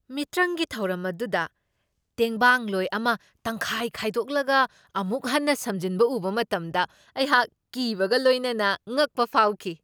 ꯃꯤꯇ꯭ꯔꯪꯒꯤ ꯊꯧꯔꯝ ꯑꯗꯨꯗ ꯇꯦꯡꯕꯥꯡꯂꯣꯏ ꯑꯃ ꯇꯪꯈꯥꯏ ꯈꯥꯏꯗꯣꯛꯂꯒ ꯑꯃꯨꯛ ꯍꯟꯅ ꯁꯝꯖꯤꯟꯕ ꯎꯕ ꯃꯇꯝꯗ ꯑꯩꯍꯥꯛ ꯀꯤꯕꯒ ꯂꯣꯏꯅꯅ ꯉꯛꯄ ꯐꯥꯎꯈꯤ꯫